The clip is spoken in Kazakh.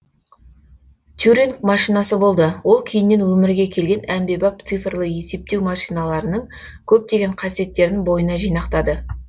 тюринг машинасы болды ол кейіннен өмірге келген әмбебап цифрлы есептеу машиналарының көптеген қасиеттерін бойына жинақтады